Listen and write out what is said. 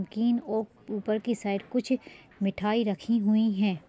किन ओप ऊपर की साइड कुछ मिठाई रखी हुई हैं।